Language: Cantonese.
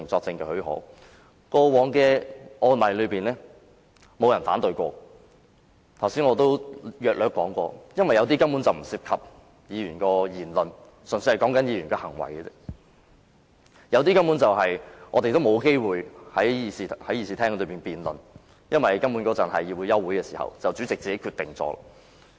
正如我剛才約略提及，原因是有些申請根本不涉及議員的言論，只涉及議員的行為，另有一些申請我們根本沒有機會在議事廳內辯論，因為當局是在休會期間提出申請，主席便作出決定。